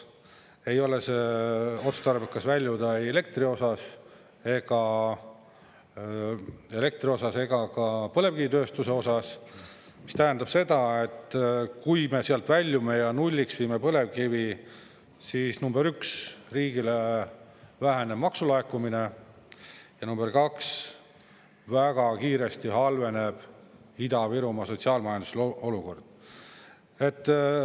Ei ole see otstarbekas väljuda elektri osas ega ka põlevkivitööstuse osas, mis tähendab seda, et kui me sealt väljume ja nulliksime põlevkivi, siis nr 1, riigile väheneb maksulaekumine ja nr 2, väga kiiresti halveneb Ida-Virumaa sotsiaal-majanduslik olukord.